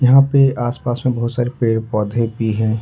यहाँ पे आस पास में बहुत सारे पेड़ पौधे भी हैं।